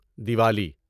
Diwali